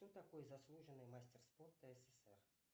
кто такой заслуженный мастер спорта ссср